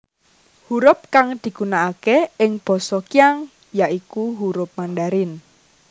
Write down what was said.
Hurup kang digunakake ing basa Qiang ya iku hurup Mandarin